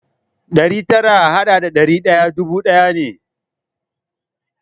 Ɗari tara a haɗa da ɗari ɗaya dubu ɗaya ne.